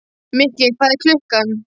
Mikki, hvað er klukkan?